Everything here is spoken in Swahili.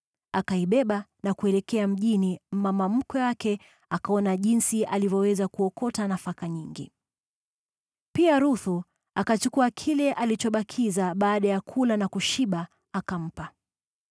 Akaibeba na kuelekea mjini, naye mama mkwe wake akaona jinsi alivyoweza kuokota nafaka nyingi. Pia Ruthu akachukua kile alichobakiza baada ya kula na kushiba, akampa.